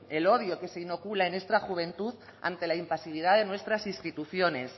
el odio que se inocula en esta juventud ante la impasividad de nuestras instituciones